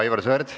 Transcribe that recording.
Aivar Sõerd.